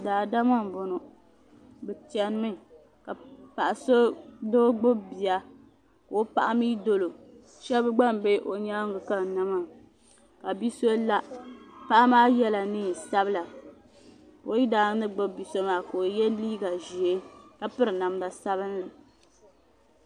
Daadama m boŋɔ bɛ chenimi ka doo gbibi bia ka o paɣa mee doli o sheba gba m be o nyaanga n kanna maa ka bia so la paɣa maa yela niɛn'sabla ka o yidana ni gbibi bia so maa ka o ye liiga ʒee ka biri namda sabinli.